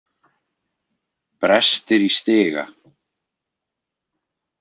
Brestir í stiga.